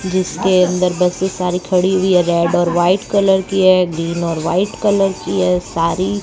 जिसके अंदर बसें सारी खड़ी हुई है रेड और वाइट कलर की है ग्रीन और वाइट कलर की है सारी।